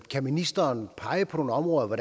kan ministeren pege på nogle områder hvor